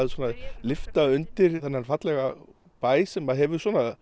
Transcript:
lyfta undir þennan fallega bæ sem hefur